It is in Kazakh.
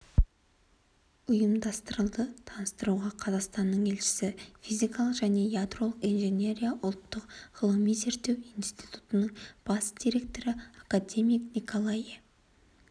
ұйымдастырылды таныстыруға қазақстанның елшісі физика және ядролық инженерия ұлттық ғылыми-зерттеу институтының бас директоры академик николае